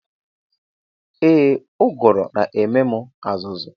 Ee uguru na ememu azuzu.